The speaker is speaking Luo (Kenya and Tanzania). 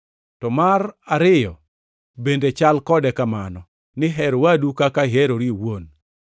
To mar ariyo bende chal kode kamano, ni, ‘Her wadu kaka iherori iwuon.’ + 22:39 \+xt Lawi 19:18\+xt*